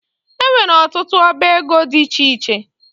E nwere ọtụtụ ọbá égo dị iche iche